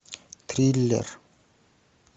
триллер